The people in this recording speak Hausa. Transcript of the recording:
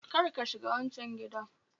Kar ka shiga wancan gidan